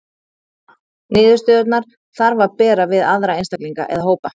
Niðurstöðurnar þarf að bera við aðra einstaklinga eða hópa.